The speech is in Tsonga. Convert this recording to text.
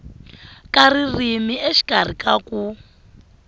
ka ririmi exikarhi ka ku